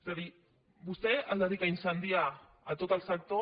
és a dir vostè es dedica a incendiar tot el sector